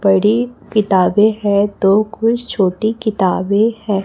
बड़ी किताबें है तो कुछ छोटी किताबें है।